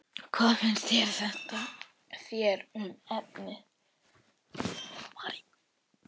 Hvað finnst þér um efnið?